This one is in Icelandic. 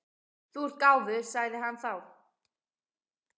Þú ert gáfuð, sagði hann þá.